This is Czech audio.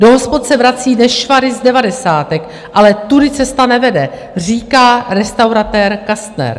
Do hospod se vrací nešvary z devadesátek, ale tudy cesta nevede, říká restauratér Kastner.